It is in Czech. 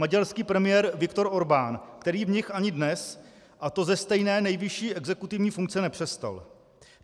Maďarský premiér Viktor Orbán, který v nich ani dnes, a to ze stejné nejvyšší exekutivní funkce, nepřestal.